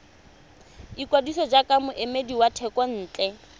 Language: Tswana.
ikwadisa jaaka moemedi wa thekontle